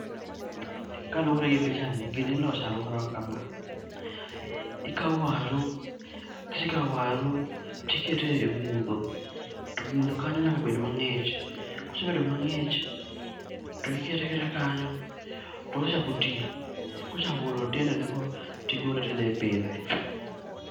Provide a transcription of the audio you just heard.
Kaluwore gi pichani, gini ilose alworawa kama: ikawo waru, kisekawo waru, tikete e mudho, to mudho kanyo nyaka bed mang'ich. Kosebedo mang'ich, to ikete aketa kanyo, to kosechako ti, kochako golo tiendene go tigole tidhi ipidhe.